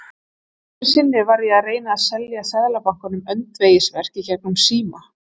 Einhverju sinni var ég að reyna að selja Seðlabankanum öndvegisverk í gegnum síma.